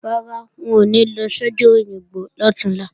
Rárá, wọn ò ní lọ sọ́jà Òyìngbò lọ̀túnla